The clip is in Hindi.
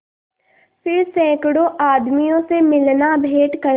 फिर सैकड़ों आदमियों से मिलनाभेंट करना